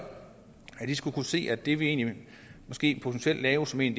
at de skulle kunne se at det vi egentlig måske potentielt laver som et